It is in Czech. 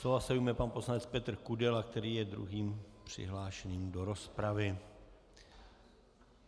Slova se ujme pan poslanec Petr Kudela, který je druhým přihlášeným do rozpravy.